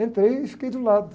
Entrei e fiquei de um lado.